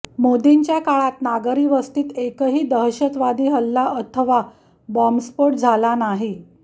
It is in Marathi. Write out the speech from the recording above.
मोदींच्या काळात नागरी वस्तीत एकही दहशतवादी हल्ला अथवा बॉंबस्फोट झाला नाही